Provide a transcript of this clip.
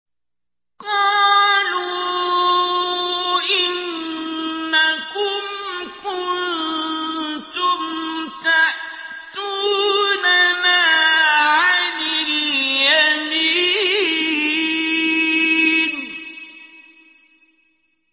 قَالُوا إِنَّكُمْ كُنتُمْ تَأْتُونَنَا عَنِ الْيَمِينِ